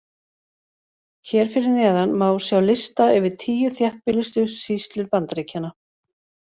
Hér fyrir neðan má sjá lista yfir tíu þéttbýlustu sýslur Bandaríkjanna.